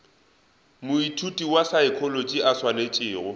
moithuti wa saekholotši a swanetšego